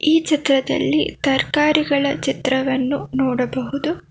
ಈ ಚಿತ್ರದಲ್ಲಿ ತರಕಾರಿಗಳ ಚಿತ್ರವನ್ನು ನೋಡಬಹುದು.